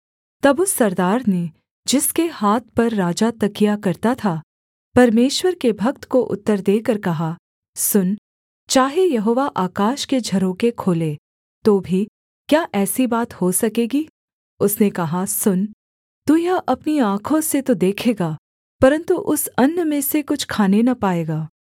तब उस सरदार ने जिसके हाथ पर राजा तकिया करता था परमेश्वर के भक्त को उत्तर देकर कहा सुन चाहे यहोवा आकाश के झरोखे खोले तो भी क्या ऐसी बात हो सकेगी उसने कहा सुन तू यह अपनी आँखों से तो देखेगा परन्तु उस अन्न में से कुछ खाने न पाएगा